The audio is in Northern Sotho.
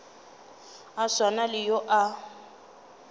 a swana le yo a